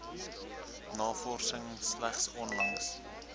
navorsing slegs onlangs